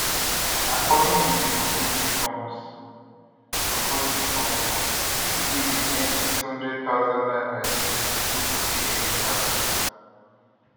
according to di proposed reforms proposed reforms pipo wey dey earn 800000 naira yearly no go pay any tax